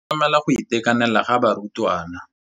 tlamela go itekanela ga barutwana.